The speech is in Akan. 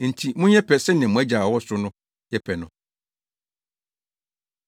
Enti monyɛ pɛ sɛnea mo Agya a ɔwɔ ɔsoro no yɛ pɛ no.